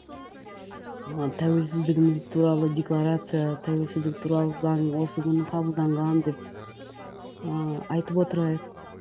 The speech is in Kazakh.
ыыы тәуелсіздігіміз туралы декларация тәуелсіздік туралы заң осы күні қабылданған деп ыыы айтып отырайық